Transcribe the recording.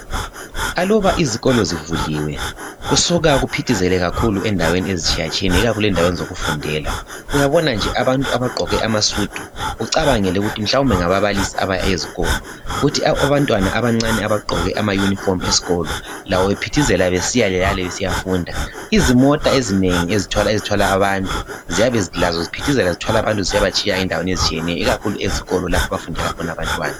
Aluba izikolo zivuliwe kusuka kuphithizele kakhulu endaweni ezitshiya tshiyeneyo ikakhulu endaweni zokufundela .Uyabona nje abantu abagqoke amasudu ucabangele ukuthi mhlawumbe ngababalisi abaya ezikolo .Kuthi abantwana abancane abagqoke amauniform eskolo labo bephithizela besiyale lale besiyafunda. Izimota ezinengi ezithwala abantu . Ziyabe lazo ziphithizela zithwala bantu zisiyaba tshiya endaweni ezitshiyeneyo .Ikakhulu ezikolo lapho abafundela khona abantwana.